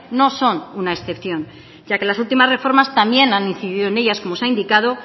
no son una excepción ya que las últimas reformas también han incidido en ellas como se ha indicado